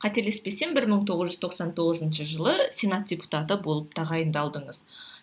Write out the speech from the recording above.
қателеспесем бір мың тоғыз жүз тоқсан тоғызыншы жылы сенат депутаты болып тағайындалдыңыз